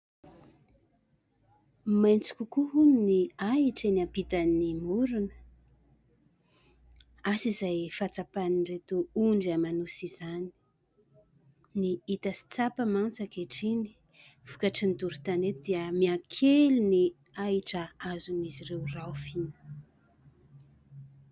Maitso kokoa hono ny ahitra eny ampitan'ny morona. Asa izay fahatsapan'ireto ondry aman'osy izany. Ny hita sy tsapa mantsy ankehitriny, vokatry ny doro tanety dia miakely ny ahitra azon'izy ireo raofina.